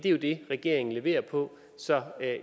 jo det regeringen leverer på så